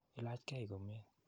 Ilach kei komnye.